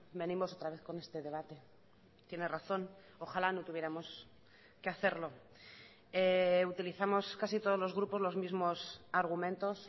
venimos otra vez con este debate tiene razón ojalá no tuviéramos que hacerlo utilizamos casi todos los grupos los mismos argumentos